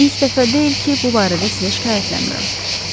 İlk dəfə deyil ki, bu barədə sizə şikayətlənmirəm.